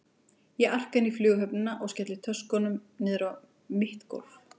Ég arka inn í Flughöfnina og skelli töskunum niður á mitt gólf.